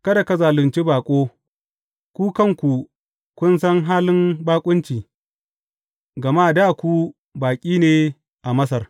Kada ka zalunci baƙo, ku kanku kun san halin baƙunci, gama dā ku baƙi ne a Masar.